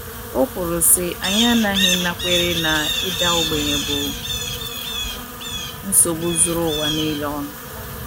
O kwuru, sị: “ Anyị aghaghị ịnakwere na ịda ogbenye bụ nsogbu zuru ụwa nile ọnụ. ”